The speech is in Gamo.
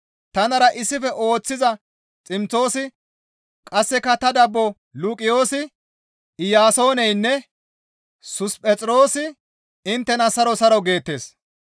Tanara issife ooththiza Ximtoosi qasseka ta dabbo Luqiyoosi, Iyaasooneynne Susiphexiroosi inttena saro saro geettes.